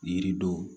Yiridenw